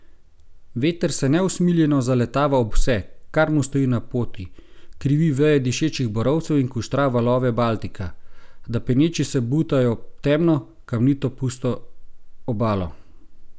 Veter se neusmiljeno zaletava ob vse, kar mu stoji na poti, krivi veje dišečih borovcev in kuštra valove Baltika, da peneči se butajo ob temno, kamnito, pusto obalo.